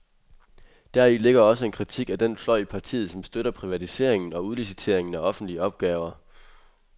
Deri ligger også en kritik af den fløj i partiet, som støtter privatisering og udlicitering af offentlige opgaver.